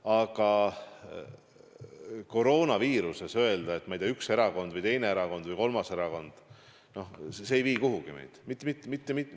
Aga koroonaviiruse puhul öelda, et süüdi on, ma ei tea, üks erakond või teine erakond või kolmas erakond – noh, see ei vii meid kuhugi.